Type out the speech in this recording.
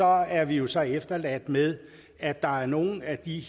er vi vi så efterladt med at der er nogle af de